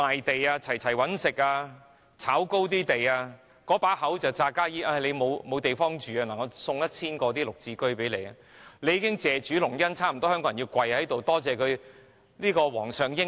那些"炒"高樓價的地產商，假惺惺說市民沒有屋住，送出 1,000 個"綠置居"單位，香港人已經差不多要跪在地上謝主隆恩，多謝皇上英明。